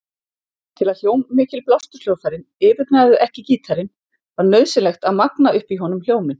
Til að hljómmikil blásturshljóðfærin yfirgnæfðu ekki gítarinn var nauðsynlegt að magna upp í honum hljóminn.